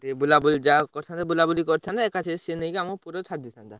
ଟିକେ ବୁଲାବୁଲି ଯାହା ହଉ କରିଥାନ୍ତେ, ବୁଲାବୁଲି କରିଥାନ୍ତେ, ଏକାଥର ସିଏ ନେଇକି ଆମକୁ ପୁରୀରେ ଛାଡିଦେଇଥାନ୍ତା।